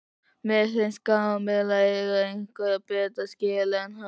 Mér finnst Kamilla eiga eitthvað betra skilið en hann.